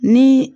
Ni